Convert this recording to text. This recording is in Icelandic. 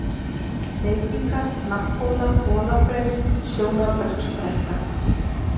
Hleypingar, Hnapphóla, Holahraun, Sjónarbergsbrekka